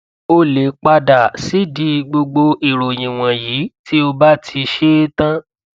o lè pa dà sídìí gbogbo ìròyìn wọnyí tí o bá ti ṣe é tán